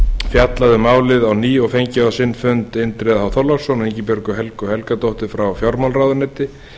fjallað um málið á ný og fengið á sinn fund indriða h þorláksson og ingibjörgu helgu helgadóttur frá fjármálaráðuneyti